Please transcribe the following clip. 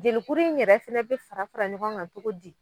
Jelikuru in yɛrɛ fɛnɛ be fara fara ɲɔgɔn ŋa cogo di?